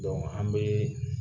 Donku an bɛ